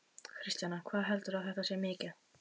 Kristjana: Hvað heldurðu að þetta sé mikið?